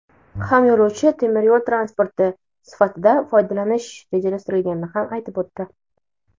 ham yo‘lovchi temir yo‘l transporti sifatida foydalanish rejalashtirilganini ham aytib o‘tdi.